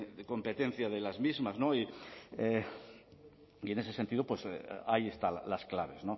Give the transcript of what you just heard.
competencia de las mismas y en ese sentido ahí están las claves